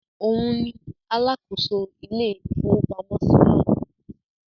Òun ni alákòóso ilé-ìfowópamọ́sí náà.